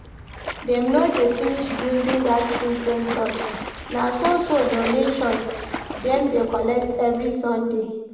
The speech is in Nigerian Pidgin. Dem no dey finish building that children church? Na so so donations dem dey collect every sunday